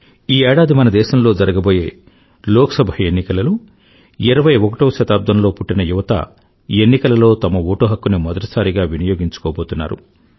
ఈ ఏడాది మన దేశంలో జరగబోయే లోక్ సభ ఎన్నికలలో 21వ శతాబ్దంలో పుట్టిన యువత ఎన్నికలలో తమ ఓటు హక్కుని మొదటిసారిగా వినియోగించుకోబోతున్నారు